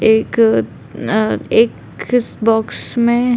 एक अ एक इस बॉक्स में --